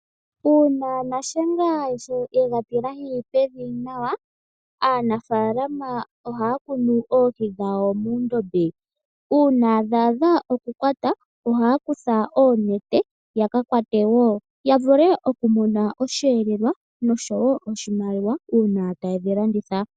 Uuna nashenga ye ga tilahi pevi nawa, aanafalama ohaya kunu oohi dhawo muundombe. Uuna dha adha okukwatwa, ohaya kutha oonete ya ka kwate wo, ya vule okumona osheelelwa noshowo wo oshimaliwa uuna taye dhi landitha.